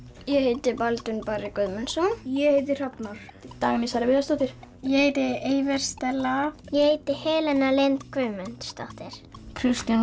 ég heiti Baldvin barri Guðmundsson ég heiti hrafnar Dagný Sara Viðarsdóttir ég heiti Stella ég heiti Helena Lind Guðmundsdóttir Kristján